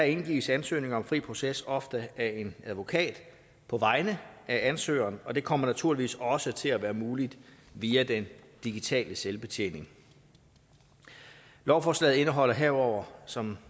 indgives ansøgning om fri proces ofte af en advokat på vegne af ansøgeren og det kommer naturligvis også til at være muligt via den digitale selvbetjening lovforslaget indeholder herudover som